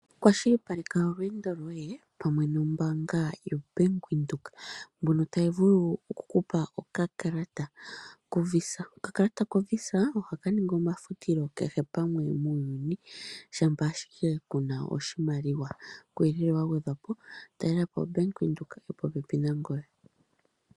Kwashilipaleka oolwendo lyoye pamwe nombanga ya Bank Windhoek ndjoka tayi vulu oku kupa okakalata ko visa. Okakalata ko visa ohaka ningi omafutilo kehe pamwe muuyuni shampa ashike kuna oshimaliwa, kuuyelele wa gwedhwapo talelapo oBank Windhoek yo popepi nangoye.